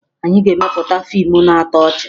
Anyị ga-emepụta fiimu na-atọ ọchị